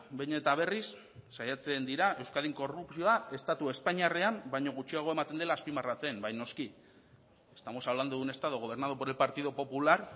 behin eta berriz saiatzen dira euskadin korrupzioa estatu espainiarrean baino gutxiago ematen dela azpimarratzen bai noski estamos hablando de un estado gobernado por el partido popular